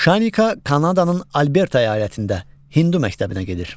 Şanika Kanadanın Alberta əyalətində hindu məktəbinə gedir.